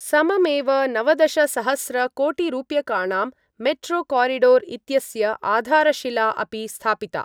सममेव नवदशसहस्रकोटिरूप्यकाणां मेट्रोकोरिडोर् इत्यस्य आधारशिला अपि स्थापिता।